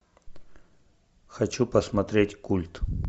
хочу посмотреть культ